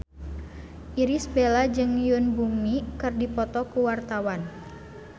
Irish Bella jeung Yoon Bomi keur dipoto ku wartawan